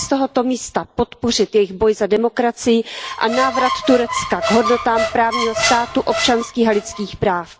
Chci z tohoto místa podpořit jejich boj za demokracii a návrat Turecka k hodnotám právního státu, občanských a lidských práv.